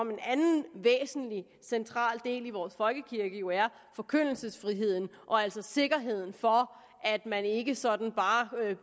central del i vores folkekirke jo er forkyndelsesfriheden og altså sikkerheden for at man ikke sådan bare